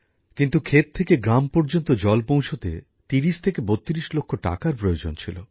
কিন্তু ক্ষেত থেকে গ্রাম পর্যন্ত জল পৌঁছাতে ৩০ থেকে ৩২ লক্ষ টাকার প্রয়োজন ছিল